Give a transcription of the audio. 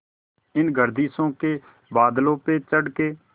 इन गर्दिशों के बादलों पे चढ़ के